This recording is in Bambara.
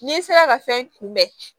N'i sera ka fɛn kunbɛn